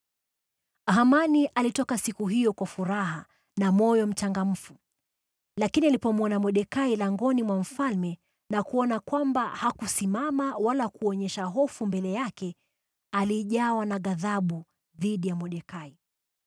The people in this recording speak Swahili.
Hamani alitoka siku hiyo kwa furaha na moyo mchangamfu. Lakini alipomwona Mordekai langoni mwa mfalme na kuona kwamba hakusimama wala hakuonyesha hofu mbele yake, alijawa na ghadhabu dhidi ya Mordekai.